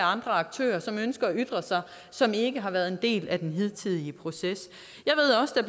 andre aktører som ønsker at ytre sig og som ikke har været en del af den hidtidige proces